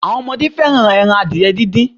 Àwọn ọmọdé fẹ́ràn ẹran adìẹ díndín.